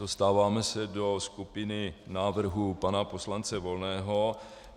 Dostáváme se do skupiny návrhů pana poslance Volného.